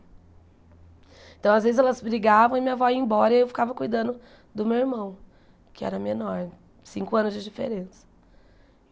Então, às vezes, elas brigavam e minha avó ia embora e eu ficava cuidando do meu irmão, que era menor, cinco anos de diferença.